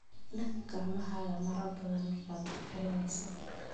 Dhaq gacmahaaga marar badan markaad wax karinayso.